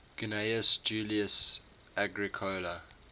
gnaeus julius agricola